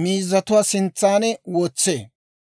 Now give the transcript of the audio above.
miizatuwaa sintsaan wotsee.